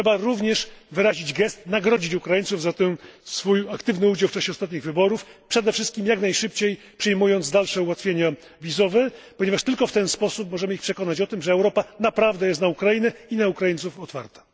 Trzeba również uczynić gest, nagrodzić Ukraińców za ten aktywny udział w czasie ostatnich wyborów, przede wszystkim jak najszybciej przyjmując dalsze ułatwienia wizowe, ponieważ tylko w ten sposób możemy ich przekonać o tym, że Europa naprawdę jest na Ukrainę i na Ukraińców otwarta.